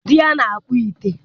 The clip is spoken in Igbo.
Di ya na-akpụ ite.